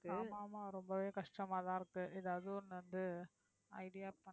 ஆமா ஆமா ரொம்பவே கஷ்டமாதான் இருக்கு. எதாவது ஒண்ணு வந்து idea